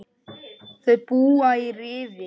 Þau búa í Rifi.